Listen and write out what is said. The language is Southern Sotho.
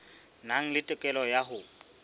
nang le tokelo ya ho